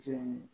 Tiɲɛ